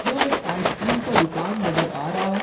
जो एक ice cream का दुकान नजर आ रहा है।